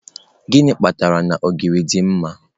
Gịnị kpatara na ogiri dị mma.